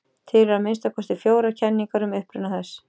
Til eru að minnsta kosti fjórar kenningar um uppruna þess.